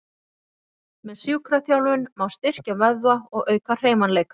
Með sjúkraþjálfun má styrkja vöðva og auka hreyfanleika.